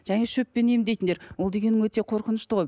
және шөппен емдейтіндер ол дегенің өте қорқынышты ғой